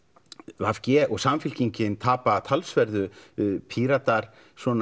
v g og Samfylkingin tapa talsverðu Píratar